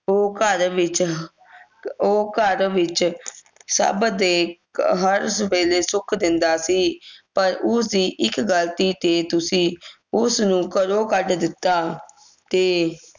ਉਹ ਘਰ ਵਿਚ ਉਹ ਘਰ ਵਿਚ ਸਬ ਦੇ ਹਰ ਵੇਲੇ ਸੁਖ ਦਿੰਦਾ ਸੀ ਪਰ ਉਸ ਦੀ ਇਕ ਗਲਤੀ ਤੇ ਤੁਸੀਂ ਉਸਨੂੰ ਘਰੋਂ ਕੱਢ ਦਿਤਾ ਤੇ